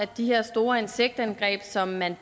de her store insektangreb som man